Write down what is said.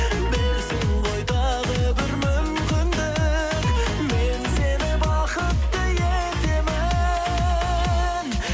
берсең ғой тағы бір мүмкіндік мен сені бақытты етемін